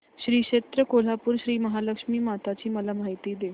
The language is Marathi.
श्री क्षेत्र कोल्हापूर श्रीमहालक्ष्मी माता ची मला माहिती दे